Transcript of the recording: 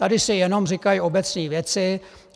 Tady se jenom říkají obecné věci.